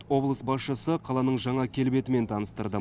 облыс басшысы қаланың жаңа келбетімен таныстырды